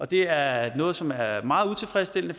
det er noget som er meget utilfredsstillende